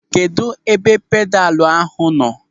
Kedụ ebe pedalu ahụ nọ?